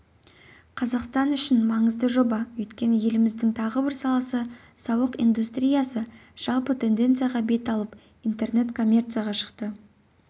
қазақстан үшін маңызды жоба өйткені еліміздің тағы бір саласы сауық индустриясы жалпы тенденцияға бет алып интернет-коммерцияға шықты